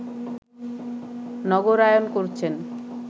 নগরায়ন করছেন